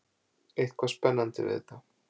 Eitthvað spennandi við þetta.